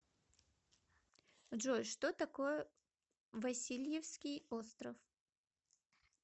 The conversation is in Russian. джой что такое васильевский остров